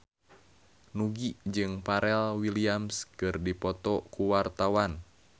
Nugie jeung Pharrell Williams keur dipoto ku wartawan